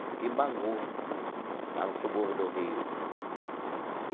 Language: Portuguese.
Fiquei em Bangu, lá no subúrbio do Rio. Sim.